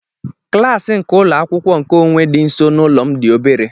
Klasi nke ụlọ akwụkwọ nkeonwe dị nso n'ụlọ m dị obere.